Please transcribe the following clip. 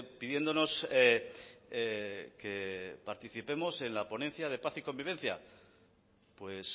pidiéndonos que participemos en la ponencia de paz y convivencia pues